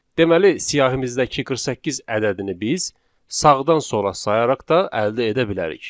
Deməli siyahimizdəki 48 ədədini biz sağdan sola sayaraq da əldə edə bilərik.